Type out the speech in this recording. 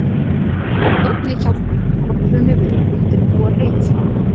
Einnig hjálpar hann kollunni við að undirbúa hreiðurskálina.